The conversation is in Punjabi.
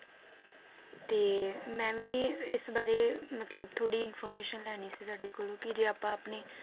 ਤੇ, ਮੈ ਵੀ, ਇਸ ਬਾਰੇ, ਮਤਲਬ ਥੋੜੀ information ਲੈਣੀ ਸੀ ਤੁਹਾਡੇ ਕੋਲੋਂ ਕਿ ਜੇ ਆਪਾਂ ਆਪਣੇ